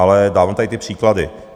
Ale dávám tady ty příklady.